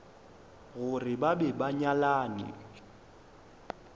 gore ba be ba nyalane